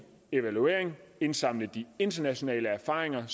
evaluering og indsamling af internationale erfaringer